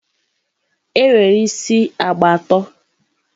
e nwere isi agba atọ.